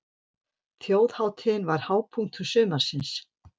Þjóðhátíðin var hápunktur sumarsins.